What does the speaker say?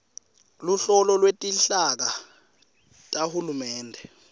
luhlolo lwetinhlaka tahulumende